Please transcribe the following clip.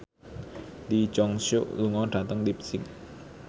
Lee Jeong Suk lunga dhateng leipzig